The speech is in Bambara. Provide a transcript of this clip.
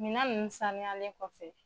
Minna nun saniyalen kɔfɛ